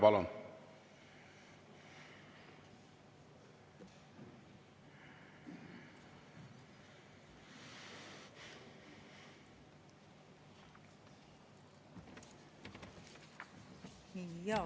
Palun!